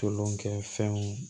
Tolonkɛfɛnw